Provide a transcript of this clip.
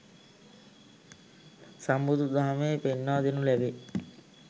සම්බුදු දහමේ පෙන්වා දෙනු ලැබේ.